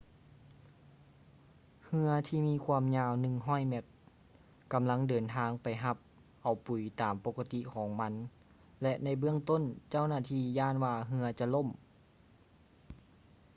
ເຮືອທີ່ມີຄວາມຍາວ 100 ແມັດ ກຳລັງເດີນທາງໄປຮັບເອົາປຸຍຕາມປົກກະຕິຂອງມັນ ແລະ ໃນເບື້ອງຕົ້ນເຈົ້າໜ້າທີ່ຢ້ານວ່າເຮືອຈະລົ້ນ